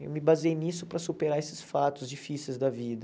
Eu me baseei nisso para superar esses fatos difíceis da vida.